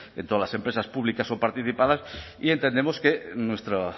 en todas las empresas públicas o participadas y entendemos que nuestra